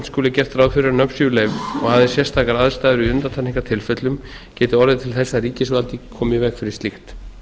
skuli gert ráð fyrir að nöfn séu leyfð og aðeins sérstakar aðstæður í undantekningartilfellum geti orðið til þess að ríkisvaldið komi í veg fyrir slíkt